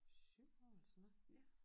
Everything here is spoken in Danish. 7 år eller sådan noget